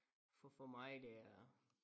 For for mig det er